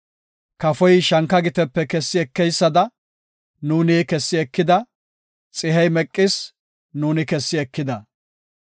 Kafoy shanka gitepe kessi ekeysada, nuuni kessi ekida; xihey meqis, nuuni kessi ekida.